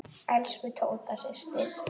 Elsku Tóta systir.